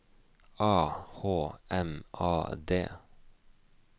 A H M A D